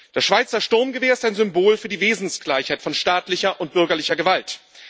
Das Schweizer Sturmgewehr ist ein Symbol für die Wesensgleichheit von staatlicher und bürgerlicher Gewalt.